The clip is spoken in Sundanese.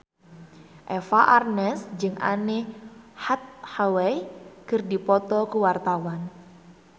Eva Arnaz jeung Anne Hathaway keur dipoto ku wartawan